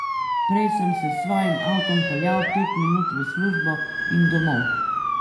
Prej sem se s svojim avtom peljal pet minut v službo in domov.